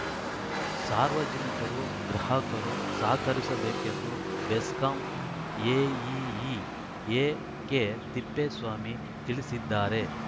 ಸಾರ್ವಜನಿಕರು ಗ್ರಾಹಕರು ಸಹಕರಿಸಬೇಕೆಂದು ಬೆಸ್ಕಾಂ ಎಇಇ ಎಕೆತಿಪ್ಪೇಸ್ವಾಮಿ ತಿಳಿಸಿದ್ದಾರೆ